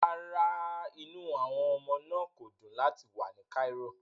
Rárá, inú àwọn ọmọ náà kò dùn láti wà ní Cairo